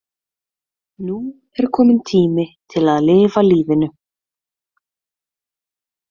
Nú er kominn tími til að lifa lífinu.